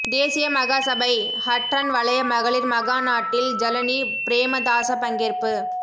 தேசிய மகாசபை ஹற்றன் வலய மகளிர் மகாநாட்டில் ஜலனி பிரேமதாச பங்கேற்ப்பு